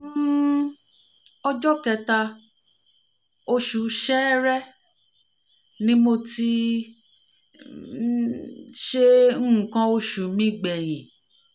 um ọjọ́ kẹta oṣù ṣẹẹrẹ ni mo ti ni mo ti um ṣe nǹkan oṣù mi gbẹ̀yìn